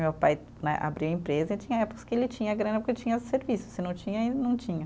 Meu pai né, abriu a empresa e tinha épocas que ele tinha grana porque tinha serviço, se não tinha, aí não tinha.